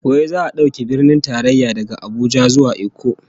Wai za'a dauke Birnin Tarayya daga Abuja zuwa Ikko?